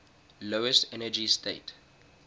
lowest energy state